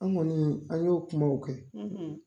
An kɔni an y'o kumaw kɛ.